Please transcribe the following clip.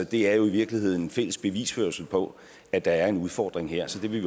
det er jo i virkeligheden en fælles bevisførelse på at der er en udfordring her så det vil